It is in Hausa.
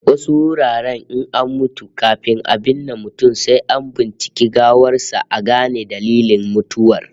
Wasu wuraren in an mutu, kafin a binne mutum sai an binciki gawar sa a gane dalilin mutuwar